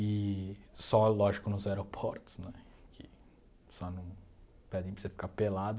E só, lógico, nos aeroportos, né que só não pedem para você ficar pelado.